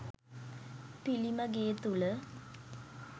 පිළිම ගේ තුළ